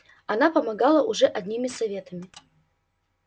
она помогала уже одними советами